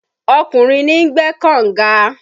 Ọkùnrin ni ń gbẹ́ kọ̀nga